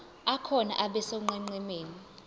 akhona abe sonqenqemeni